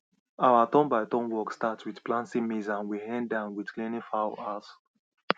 our turnbyturn work start with planting maize and we end am with cleaning fowl house